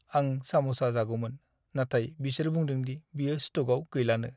आं साम'सा जागौमोन, नाथाय बिसोर बुंदों दि बेयो स्ट'कआव गैलानो।